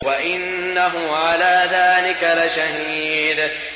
وَإِنَّهُ عَلَىٰ ذَٰلِكَ لَشَهِيدٌ